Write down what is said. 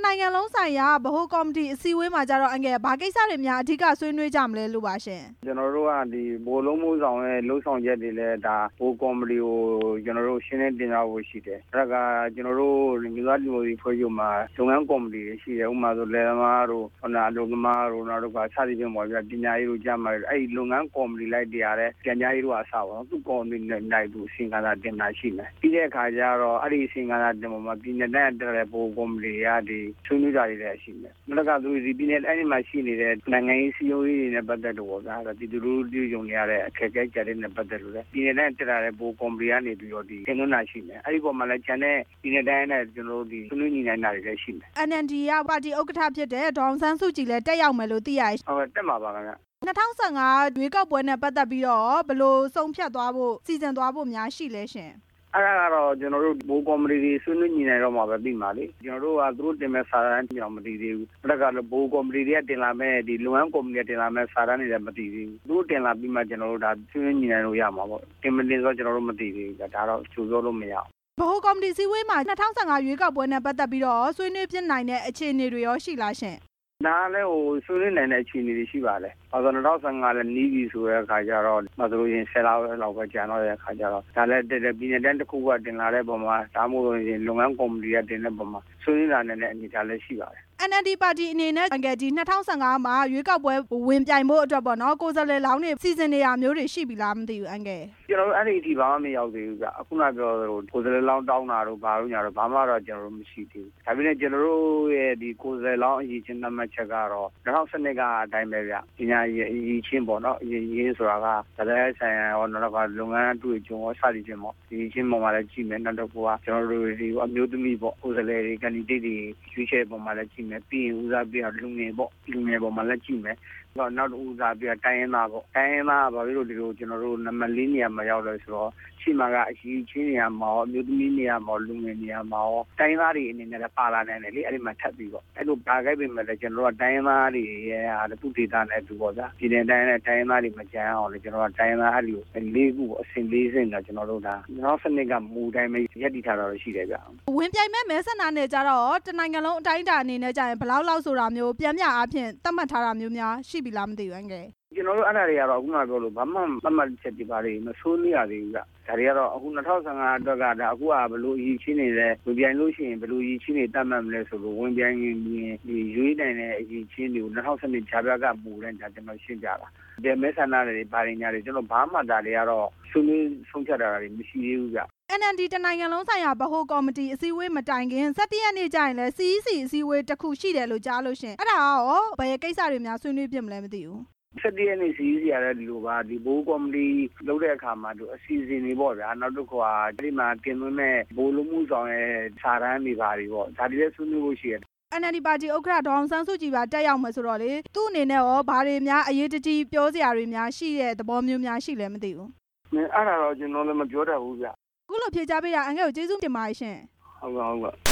နိုင်ငံလုံးဆိုင်ရာ ဗဟိုအစည်းအဝေးမှာတော့ ဘာကိစ္စတွေများ ဆွေးနွေးကြမလို့ပါလဲရှင့်။ ကျနော်တို့က ဗဟိုအလုပ်အမှှုဆောင်ရဲ့ လုပ်ဆောင်ချက်တွေ ဗဟိုကော်မတီကို ရှင်းလင်း တင်ပြဖို့ရှိတယ်၊ နောက်တစ်ခါ ကျနော်တို့ အမျိုးသားဒီမိုကရေစီအဖွဲ့ချုပ်မှာ လုပ်ငန်းကော်မတီတွေရှိတယ်၊ ဥပမာ လယ်သမားတို့ အလုပ်သမားတို့ စသည်ဖြင့်ပေါ့ဗျာ၊ ပညာရေးတို့ ကျန်းမာရေးတို့ အဲ့ဒီလုပ်ငန်းကော်မတီ အလိုက် ပြန်ကြားရေးတို့အစပေါ့နော်၊ သူ့ကော်မတီအလိုက် အစီရင်ခံစာတင်တာရှိမယ်၊ ပြီးတဲ့အခါကျတော့ အဲ့ဒီအစီရင်ခံစာ တင်တဲ့အပေါ်မှာ ပြည်နယ်နဲ့ တိုင်းကတက်လာတဲ့ ဗဟိုကော်မတီတွေက ဆွေးနွေးတာတွေ လည်းရှိမယ်၊ အဲ့ဒီမှာရှိနေတဲ့ နိုင်ငံရေး၊ စည်းလုံးရေးတွေ ပတ်သက်လို့ပေါ့ဗျာ၊ ပြည်သူလူထု တွေကြုံနေရတဲ့ အခက်အခဲ အကြပ်အတည်းတွေနဲ့ ပတ်သက်လို့လည်း ပြည်နယ်နဲ့ တိုင်းကတက်လာတဲ့ ဗဟိုကော်မတီကနေ ပြီးတော့ ဒီတင်သွင်းတာလည်းရှိမယ်၊ အဲ့ဒီအပေါ်မှာလည်း ကျန်တဲ့ ပြည်နယ်နဲ့တိုင်းက ဆွေးနွေးတာတွေ လည်းရှိမယ်။ NLD ကပါတီ ဥက္ကဌဖြစ်တဲ့ ဒေါ်အောင်ဆန်းစုကြည်လည်း တက်ရောက်မယ်လို့ သိရတယ်ရှင့်။ ဟုတ်ကဲ့ တက်မှာပါခင်ဗျ။ ၂ဝ၁၅ ရွေးကောက်ပွဲနဲ့ ပတ်သက်ပြီးတော့ရော ဘယ်လိုဆုံးဖြတ်သွားဖို့၊ စီစဉ်သွားဖို့များ ရှိလဲရှင့်။ အဲ့ဒါကတော့ ကျနော်တို့ ဗဟိုကော်မတီတွေ ဆွေးနွေးညှိနှှိုင်းပြီးတော့မှ သိမှာလေ၊ ကျနော်တို့က သူတို့တင်မဲ့စာတမ်းအထိတောင် မသိသေးဘူး၊ ဗဟိုကော်မတီတွေကတင်လာမဲ့ ဒီလုပ်ငန်းကော်မတီတွေနဲ့ တင်လာမဲ့စာတမ်းတွေလည်း မသိသေးဘူး၊ သူတို့တင်လာပြီးမှ ကျနော်တို့ ဆွေးနွေးညျှိနှှိုင်းလို့ ရမှာပေါ့၊ တင်မတင်တော့ ကျနော်တို့ မသိသေးဘူး၊ ကျနော်တို့ ဒါတော့ကြိုပြောလို့ မရဘူး။ ဗဟိုကော်မတီအစည်းအဝေးမှာ ၂ဝ၁၅ ရွေးကောက်ပွဲနဲ့ ပတ်သက်ပြီးတော့ ဆွေးနွေးဖြစ်နိုင်တဲ့ အခြေအနေတွေရော ရှိလားရှင့်။ ဒါကလည်း ဆွေးနွေးနိုင်မဲ့ အခြေအနေတွေရှိပါတယ်၊ ၂ဝ၁၅ နဲ့လည်းနီးပြီဆိုတဲ့အခါကျတော့ ဥပမာဆိုလို့ရှိရင် ၁၅ ရက်လောက်ပဲ ကျန်တဲ့အခါကျတော့ ပြည်နယ်နဲ့တိုင်း တစ်ခုခုကတင်လာတဲ့အပေါ်မှာ ဒါမှမဟုတ်လို့ရှိရင် လုပ်ငန်းကော်မတီက တင်တဲ့အပေါ်မှာ ဆွေးနွေးနိုင်တဲ့ အနေအထားလည်းရှိပါမယ်။ NLD အနေနဲ့ ၂ဝ၁၅ ရွေးကောက်ပွဲ ဝင်ပြိုင်ဖို့အတွက်ပေါ့နော်၊ ကိုယ်စားလှယ်လောင်းတွေ စီစဉ်နေတာမျိုးတွေ ရှိပြီလားမသိဘူး။ ကျနော်တို့ အဲ့ဒီအထိဘာမှ မရောက်သေးဘူးဗျ၊ ခုနကပြောသလို ကိုယ်စားလှယ်လောင်း တောင်း တာတို့ ဘာတို့ညာတို့ ဘာမှတော့ ကျနော်တို့ မရှိသေးဘူး၊ ဒါပေမဲ့ ကျနော်တို့ရဲ့ ကိုယ်စားလှယ်လောင်း အရည် အချင်းသက်မှတ်ချက်ကတော့ ၂ဝ၁၂ ကအတိုင်းပဲဗျ၊ ပညာအရည်အချင်းပေါ့နော်၊ ဘာသာရပ်ဆိုင်ရာရော နောက် တစ်ခါ လုပ်ငန်းအတွေ့အကြုံရော စသည်ဖြင့်ပေါ့၊ အရည်အချင်းပေါ်မှာလည်းကြည့်မယ်၊ နောက်တစ်ခုက NLD ကိုအမျိုးသမီးတွေပေါ့ ကိုယ်စားလှယ်တွေ အဓိပ္ပါယ်ရွေးချယ်တဲ့ အခါမှာလည်းကြည့်မယ်၊ ပြီးရင်ဦးစားပေးတာက လူငယ်ပေါ့၊ လူငယ်တွေအပေါ်မှလည်းကြည့်မယ်၊ နောက်ထပ်ဦးစားပေးတာက တိုင်ရင်းသားပေါ့၊ တိုင်းရင်းသား က ဘာဖြစ်လို့ဒီလို ကျနော်တို့ နံပါတ် ၄ နေရာမှာရောက်လည်းဆိုတော့ ရှေ့မှာက အရည်အချင်းတွေကရော၊ အမျိုးသမီးတွေကရော၊ လူငယ်တွေကရော၊ တိုင်းရင်းသားတွေအနေနဲ့လည်း ပါလာနိုင်တယ်လေ၊ အဲ့မှာထပ်ပြီပေါ့၊ အဲ့လိုပါခဲ့ပြန်ရင်လည်း တိုင်းရင်းသားတွေထဲက သူ့ဒေသနဲ့သူပေါ့ဗျာ၊ ပြည်နယ်တိုင်းအလိုက် တိုင်းရင်းသားတွေ မကျန်ရအောင်လို့ ကျနော်တို့က တိုင်းရင်းသားတွေကို ၄ ခုကို အဆင့် ၄ ဆင့်နဲ့ ၂ဝ၁၂ ကမူအတိုင်းပဲ ရပ်တည် ထားတော့ ရှိတယ်ဗျ။ ဝင်ပြိုင်မဲ့ မဲဆန္ဒနယ်ကျတော့ရော တစ်နိုင်ငံလုံးအတိုင်းအတာ အနေနဲ့ကျရင် ဘယ်လောက်လောက်ဆိုတာမျိုး ပျမ်းမျှသက်မှတ်ထားတာမျိုးရော ရှိပြီလားမသိဘူး အန်ကယ်လ်။ ကျနော်တို့ အဲ့ဒါတွေကတော့ အခုကတော့ ဘာမှသက်မှတ်ချက်တွေဘာတွေ မဆွေးနွေး ရသေးဘူးဗျ၊ ဒါတွေကတော့ ၂ဝ၁၅ အတွက်က အခုဟာက ဘယ်လိုအရည်အချင်းတွေလည်း ဝင်ပြိုင်လို့ရှိရင် ဘယ်လိုအရည်အချင်းတွေ သက်မှတ်မလဲ၊ ဝင်ပြိုင်ရင်ရွေးနိုင်တဲ့ အရည်အချင်းတွေကို ၂ဝ၁၂ ကြားဖြတ်ရွေးကောက်ပွဲကာလ မူအတိုင်ပဲ ကျနော်တို့ရှိတာပါ၊ ဘယ်မဲဆန္ဒနယ်တွေ ဘာတွေ ကျနော်တို့ ဘာမှဆွေးနွေးဆုံးဖြတ်တာတွေ မရှိသေးဘူးဗျ၊ NLD တစ်နိုင်ငံလုံးဆိုင်ရာ ဗဟိုကော်မတီ အစည်းအဝေးမတိုင်ခင် ၁၁ ရက်နေ့ကျရင်လည်း CEC အစည်းအဝေးတစ်ခုရှိတယ်လို့ ကြားလို့ရှင့်၊ အဲ့ဒါကရော ဘယ်ကိစ္စတွေများ ဆွေးနွေးဖြစ်မလဲမသိဘူး။ ၁၁ ရက်နေ့ CEC ကလည်းဒီလိုပါ၊ ဗဟိုကော်မတီလုပ်တဲ့အခါမှာ အစီအစဉ်တွေပေါ့ ဗျ၊ နောက်တစ်ခုက အဲ့ဒီမှာတင်သွင်းမဲ့ ဗဟိုအလုပ်အမှှုဆောင်ရဲ့စာတမ်းတွေဘာတွေပေါ့၊ ဒါတွေလည်း ဆွေးနွေးဖို့ရှိတယ်။ NLD ပါတီ ဥက္ကဌ ဒေါ်အောင်ဆန်းစုကြည်ပါ တက်ရောက်မယ်ဆိုတော့လေ သူ့အနေနဲ့ပေါ့လေ ဘာတွေများအရေးတကြီး ပြောစရာတွေများရှိတဲ့သဘောမျိုးများရှိလဲ မသိဘူး။ အဲ့ဒါကတော့ ကျနော်တို့လည်း မပြောတက်ဘူးဗျ။ အခုလိုဖြေကြားပေးတာ အန်ကယ့်လ်ကို ကျေးဇူးတင်ပါတယ်ရှင့်။ ဟုတ်ကဲ့၊ ဟုတ်ကဲ့။